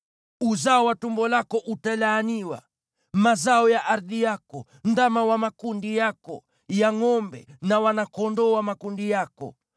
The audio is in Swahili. Uzao wa tumbo lako utalaaniwa, mazao ya ardhi yako, ndama wa makundi yako ya ngʼombe na wana-kondoo wa makundi yako.